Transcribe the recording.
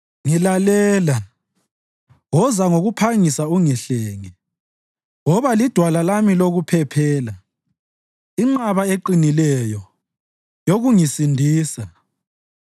Ngilalela, woza ngokuphangisa ungihlenge; woba lidwala lami lokuphephela, inqaba eqinileyo yokungisindisa.